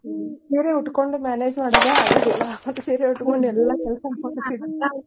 ಹ್ಮ ಸೀರೆ ಉಟ್ಕೊಂಡ್ manage ಮಾಡೋದ ಆಗೋದಿಲ್ಲಾ ಮತ್ತ್ ಸೀರೆ .